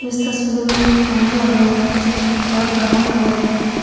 इस तस्वीर में एक टेंट लगा हुआ है जो पिंक और ब्राउन कलर में है।